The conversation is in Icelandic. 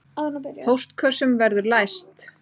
Póstkössum verður læst